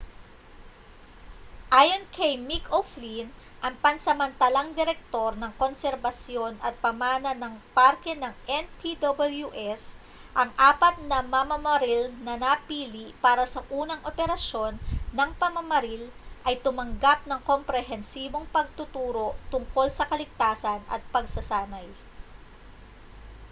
ayon kay mick o'flynn ang pansamatalang direktor ng konserbasyon at pamana ng parke ng npws ang apat na mamamaril na napili para sa unang operasyon ng pamamaril ay tumanggap ng komprehensibong pagtuturo tungkol sa kaligtasan at pagsasanay